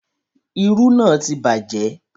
Irú náà ti bàjẹ́